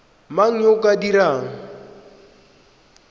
mang yo o ka dirang